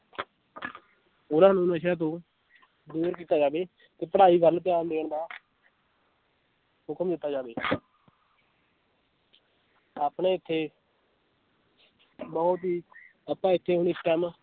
ਉਹਨਾਂ ਨੂੰ ਨਸ਼ਿਆਂ ਤੋਂ ਦੂਰ ਕੀਤਾ ਜਾਵੇ ਤੇ ਪੜ੍ਹਾਈ ਵੱਲ ਧਿਆਨ ਦੇਣ ਦਾ ਹੁਕਮ ਦਿੱਤਾ ਜਾਵੇ ਆਪਣੇ ਇੱਥੇ ਬਹੁਤ ਹੀ ਆਪਾਂ ਇੱਥੇ